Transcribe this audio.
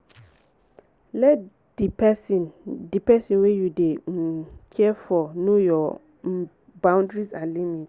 let di person di person wey you dey um care for know your um boundries and limit